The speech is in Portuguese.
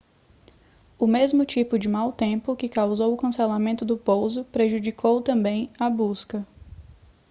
o mesmo tipo de mau tempo que causou o cancelamento do pouso prejudicou também a busca